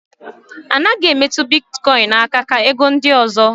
A naghị emetụ bitkọin aka ka ego ndị ọzọ.